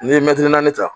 N'i ye naani ta